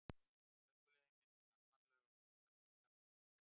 Gönguleiðin milli Landmannalauga og Þórsmerkur kallast Laugavegur.